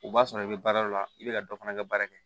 O b'a sɔrɔ i bɛ baara o la i bɛ ka dɔ fana kɛ baara kɛ